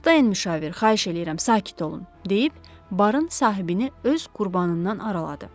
Toxda enmiş avar, xahiş eləyirəm, sakit olun deyib barın sahibini öz qurbanından araladı.